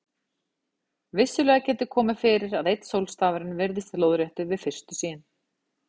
Vissulega getur komið fyrir að einn sólstafurinn virðist lóðréttur við fyrstu sýn.